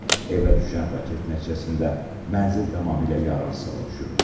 Evə düşən raket nəticəsində mənzil tamamilə yararsız hala düşüb.